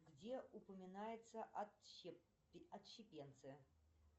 где упоминаются отщепенцы